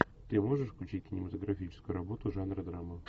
ты можешь включить кинематографическую работу жанра драма